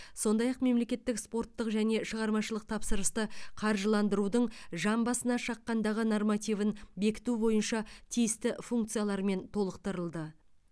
сондай ақ мемлекеттік спорттық және шығармашылық тапсырысты қаржыландырудың жан басына шаққандағы нормативін бекіту бойынша тиісті функциялармен толықтырылды